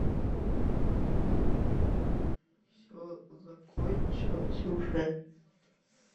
все закончилось уже